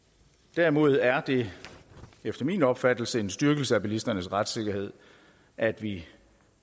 derimod er det efter min opfattelse en styrkelse af bilisternes retssikkerhed at vi